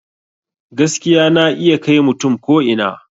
Gaskiya na iya kai mutum ko ina